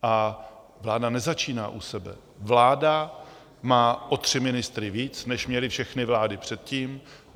A vláda nezačíná u sebe, vláda má o tři ministry víc, než měly všechny vlády předtím.